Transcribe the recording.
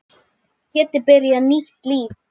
Geti byrjað nýtt líf.